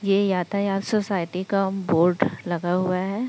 ये यातायात सोसाइटी का बोर्ड लगा हुआ है।